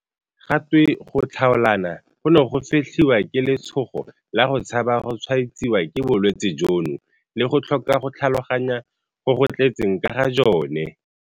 Ga twe go tlhaolana gono go fetlhiwa ke letshogo la go tshaba go tshwaetsiwa ke bolwetse jono le go tlhoka go tlhaloganya go go tletseng ka ga jone.